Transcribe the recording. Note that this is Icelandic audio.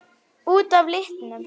Út af litnum?